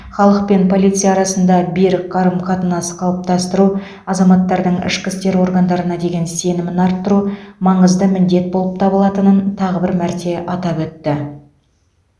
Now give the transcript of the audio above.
халық пен полиция арасында берік қарым қатынас қалыптастыру азаматтардың ішкі істер органдарына деген сенімін арттыру маңызды міндет болып табылатынын тағы бір мәрте атап өтті